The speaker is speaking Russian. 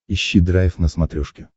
ищи драйв на смотрешке